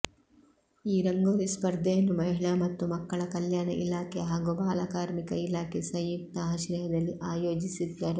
ಈ ರಂಗೋಲಿ ಸ್ಪರ್ಧೆಯನ್ನು ಮಹಿಳಾ ಮತ್ತು ಮಕ್ಕಳ ಕಲ್ಯಾಣ ಇಲಾಖೆ ಹಾಗೂ ಬಾಲ ಕಾರ್ಮಿಕ ಇಲಾಖೆ ಸಂಯುಕ್ತ ಆಶ್ರಯದಲ್ಲಿ ಆಯೋಜಿಸಿದ್ದರು